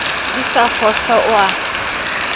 di sa fohlwa o a